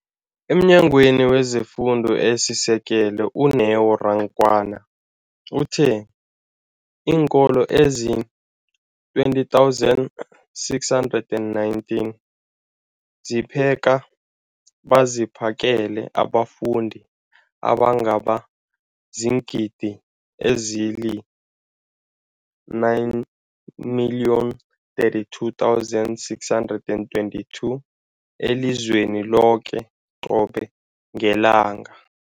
EmNyangweni wezeFundo esiSekelo, u-Neo Rakwena, uthe iinkolo ezizi-20 619 zipheka beziphakele abafundi abangaba ziingidi ezili-9 032 622 elizweni loke qobe ngelanga.